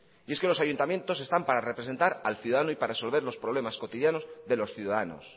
y es que los ayuntamientos están para representar al ciudadano y para resolver los problemas cotidianos de los ciudadanos